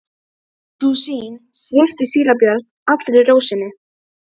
Sú sýn svipti síra Björn allri ró sinni.